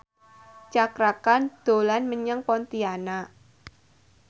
Cakra Khan dolan menyang Pontianak